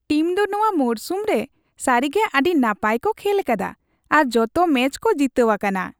Team ᱫᱚ ᱱᱚᱣᱟ ᱢᱚᱨᱥᱩᱢ ᱨᱮ ᱥᱟᱹᱨᱤᱜᱮ ᱟᱹᱰᱤ ᱱᱟᱯᱟᱭ ᱠᱚ ᱠᱷᱮᱞᱟᱠᱟᱫᱟ ᱟᱨ ᱡᱚᱛᱚ ᱢᱮᱪ ᱠᱚ ᱡᱤᱛᱟᱹᱣ ᱟᱠᱟᱱᱟ ᱾